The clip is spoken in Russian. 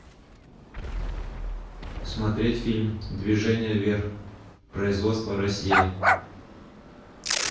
смотреть фильм движение вверх производство россия